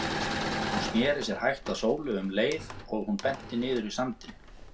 Hún sneri sér hægt að Sólu um leið og hún benti niður í sandinn.